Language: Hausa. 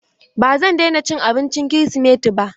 Ba zan daina cin abincin kirisimeti ba.